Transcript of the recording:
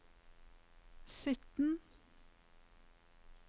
sytten